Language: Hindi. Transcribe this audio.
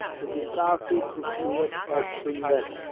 जो की काफी खूबसूरत और सुंदर है।